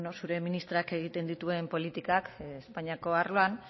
zure ministroak egiten dituen politikak espainako arloan